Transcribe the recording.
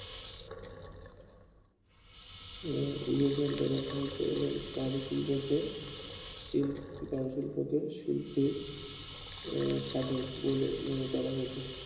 বিভাজন টা রাখা হতো এবং কাজু শিল্পকে উম কাজু শিল্পকে শিল্পের সাধক বলে মনে করা হতো